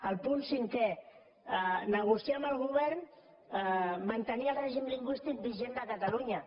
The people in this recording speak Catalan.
el punt cinquè negociar amb el govern mantenir el règim lingüístic vigent de catalunya